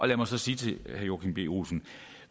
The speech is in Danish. lad mig så sige til herre joachim b olsen